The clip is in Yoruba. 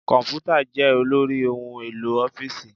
Komputa jẹ́ olórí ohun-èlò ọ́fíìsì.